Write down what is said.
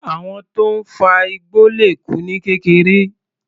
Àwọn tó ń fa igbó le kú ní kékeré.